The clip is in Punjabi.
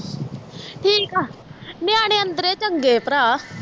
ਠੀਕ ਆ ਨਿਆਣੇ ਅੰਦਰੇ ਚੰਗੇ ਭਰਾ